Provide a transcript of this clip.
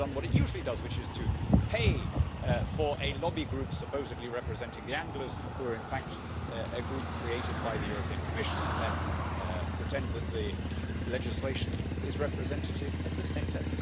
It has now done what it usually does, which is to pay for a lobby group, supposedly representing the anglers, who are in fact a group created by the Commission, and then pretend that the legislation is representative of the sector.